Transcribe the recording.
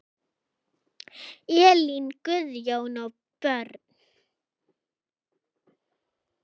Elín, Guðjón og börn.